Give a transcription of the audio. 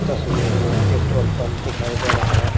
तस्वीर में petrol pump दिखाई दे रहा है।